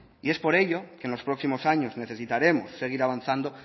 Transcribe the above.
y es por ello que en los próximos años necesitaremos seguir avanzando